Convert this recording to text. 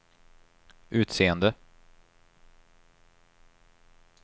utseende